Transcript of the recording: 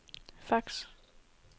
fax